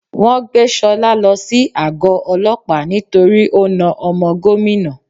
Wọ́n gbé Sọlá lo sí àgọ́ olópàá nítorí ó na omo Gómìnà